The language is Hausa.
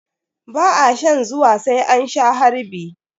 Ba a shan zuwa sai an sha harbi.